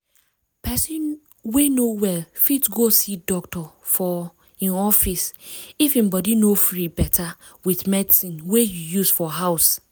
person wey no well fit go see doctor for i'm office if im body no free better with medicine wey you use for house